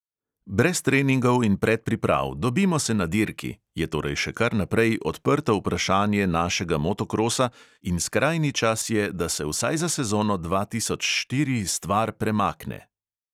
Brez treningov in predpriprav, dobimo se na dirki, je torej še kar naprej odprto vprašanje našega motokrosa in skrajni čas je, da se vsaj za sezono dva tisoč štiri stvar premakne.